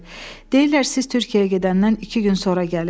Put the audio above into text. Deyirlər siz Türkiyəyə gedəndən iki gün sonra gəlib.